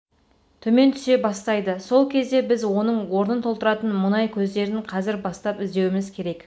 төмен түсе бастайды сол кезде біз оның орнын толтыратын мұнай көздерін қазір бастап іздеуіміз керек